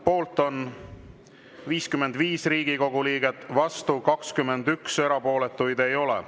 Poolt on 55 Riigikogu liiget, vastu 21, erapooletuid ei ole.